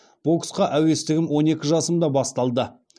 боксқа әуестігім он екі жасымда басталды